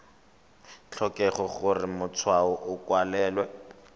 tlhokege gore matshwao a kwalwe